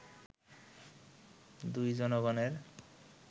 দুই জনগণের